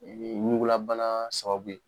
Ŋugulabana sababu ye.